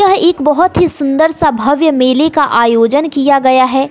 यह एक बहोत ही सुंदर सा भव्य मेले का आयोजन किया गया है।